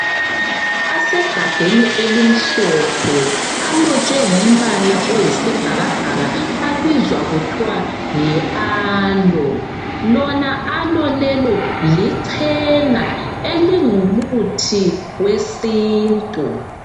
Amafutha asegabheni elimhlophe, alotshwe ngombala oyisibhakabhaka abizwa kuthiwa yi alo. Lona alo lelo lichena elingumuthi wesintu.